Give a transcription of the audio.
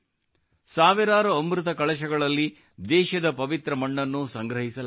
ಸಾವಿರಾರು ಅಮೃತ ಕಳಶಗಳಲ್ಲಿ ದೇಶದ ಪವಿತ್ರ ಮಣ್ಣನ್ನು ಸಂಗ್ರಹಿಸಲಾಗುತ್ತದೆ